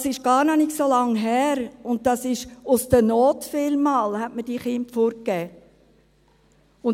Das ist noch gar nicht so lange her, und aus der Not gab man diese Kinder vielmals fort.